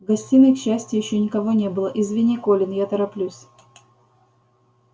в гостиной к счастью ещё никого не было извини колин я тороплюсь